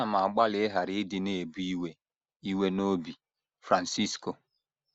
“ Ana m agbalị ịghara ịdị na - ebu iwe iwe n’obi. ” Francisco